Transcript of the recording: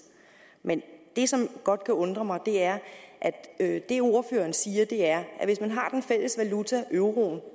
men det som godt kan undre mig er at det ordføreren siger er at hvis man har den fælles valuta euroen